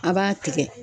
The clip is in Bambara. A b'a tigɛ